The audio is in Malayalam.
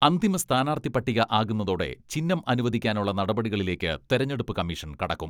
അന്തിമ സ്ഥാനാർത്ഥി പട്ടിക ആകുന്നതോടെ ചിഹ്നം അനുവദിക്കാനുള്ള നടപടികളിലേക്ക് തെരഞ്ഞെടുപ്പ് കമ്മീഷൻ കടക്കും.